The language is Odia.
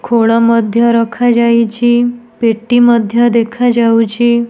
ଖୋଳ ମଧ୍ୟ ରଖାଯାଇଛି ପେଟି ମଧ୍ୟ ଦେଖାଯାଉଚି ।